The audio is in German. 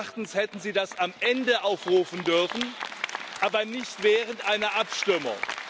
Meines Erachtens hätten Sie das am Ende aufrufen dürfen, aber nicht während einer Abstimmung.